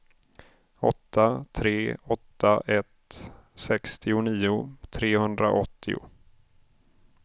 åtta tre åtta ett sextionio trehundraåttio